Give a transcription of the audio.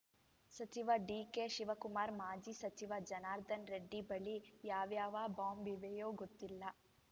ಸಚಿವ ಡಿಕೆಶಿವಕುಮಾರ್‌ ಮಾಜಿ ಸಚಿವ ಜನಾರ್ದನ ರೆಡ್ಡಿ ಬಳಿ ಯಾವ್ಯಾವ ಬಾಂಬ್‌ ಇವೆಯೋ ಗೊತ್ತಿಲ್ಲ